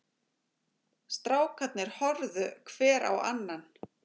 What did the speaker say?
Strákarnir horfðu hver á annan.